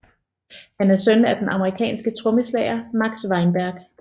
Han er søn af den amerikanske trommeslager Max Weinberg